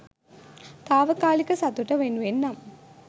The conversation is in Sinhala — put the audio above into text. තාවකාලික සතුට වෙනුවෙන් නම්